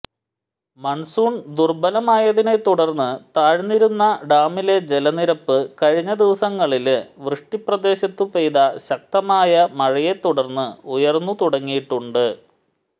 monsoon ദുര്ബലമായതിനെത്തുടര്ന്ന് താഴ്ന്നിരുന്ന ഡാമിലെ ജലനിരപ്പ് കഴിഞ്ഞ ദിവസങ്ങളില് വൃഷ്ടിപ്രദേശത്തു പെയ്ത ശക്തമായ മഴയെത്തുടര്ന്ന് ഉയര്ന്നുതുടങ്ങിയിട്ടുണ്ട്